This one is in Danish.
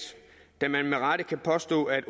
da man med rette kan påstå at